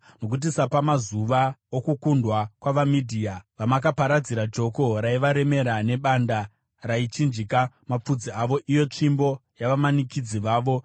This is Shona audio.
Nokuti sapamazuva okukundwa kwavaMidhia, vamakaparadzira joko raivaremera, nedanda raichinjika mafudzi avo, iyo tsvimbo yavamanikidzi vavo.